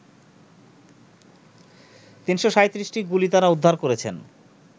৩৩৭টি গুলি তারা উদ্ধার করেছেন